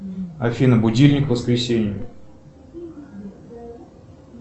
афина будильник воскресенье